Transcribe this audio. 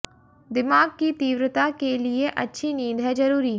दिमाग की तीव्रता के लिए अच्छी नींद है जरुरी